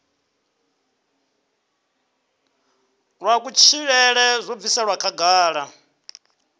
wa kutshilele zwo bviselwa khagala